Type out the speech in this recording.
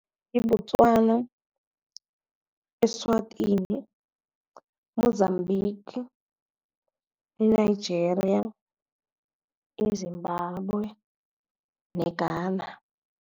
YiBotswana, eSwatini, e-Mozambique, e-Nigeria, e-Zimbabwe ne-Ghana.